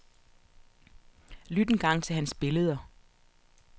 Lyt engang til hans billdeder.